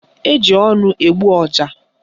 Eji ọnụ egbu ọja